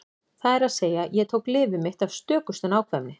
Það er að segja: Ég tók lyfið mitt af stökustu nákvæmni.